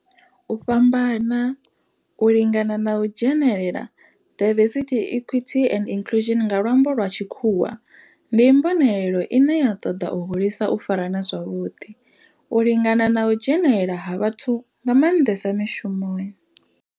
U fhambana, u lingana na u dzhenelela diversity, equity and inclusion nga lwambo lwa tshikhuwa ndi mbonelelo ine ya toda u hulisa u farana zwavhuḓi, u lingana na u dzhenelela ha vhathu nga manḓesa mishumoni.